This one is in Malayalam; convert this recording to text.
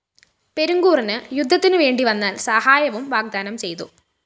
പെരുങ്കൂറിന്‌ യുദ്ധത്തിനു വേണ്ടിവന്നാല്‍ സഹായവും വാഗ്ദാനം ചെയ്തു